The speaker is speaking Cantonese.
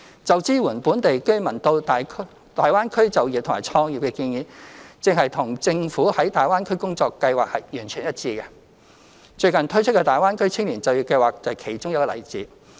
就支援本地居民到大灣區就業和創業的建議，正與政府在大灣區的工作計劃完全一致，最近推出的大灣區青年就業計劃便是其中一個例子。